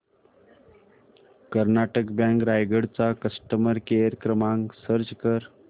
Karnataka bank Raigad चा customer care क्रमांक search कर